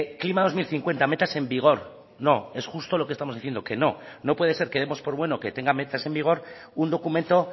klima dos mil cincuenta métase en vigor no es justo lo que estamos diciendo que no no puede ser que demos por bueno que tenga metas en vigor un documento